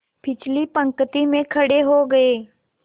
पिछली पंक्ति में खड़े हो गए